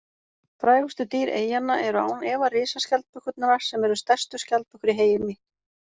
Frægustu dýr eyjanna eru án efa risaskjaldbökurnar sem eru stærstu skjaldbökur í heimi.